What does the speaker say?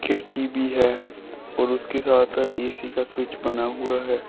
खिड़की भी है और उसके साथ है ए_सी का स्विच बना हुआ है।